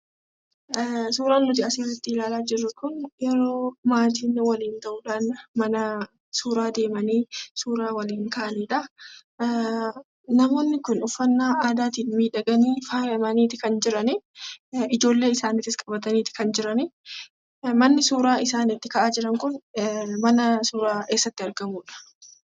Suuraan nuti asirratti ilaalaa jirru kun yeroo maatiin waliin ta'uudhaan manaa suuraa deemanii suuraa waliin ka'anidha. Namoonni kun uffannaa aadaatiin miidhaganii faayamaniiti kan jiranii. Ijoollee isaaniitis qabataniiti kan jiranii. Manni suuraa isaan itti ka'aa jiran kun mana suuraa eessatti argamudha?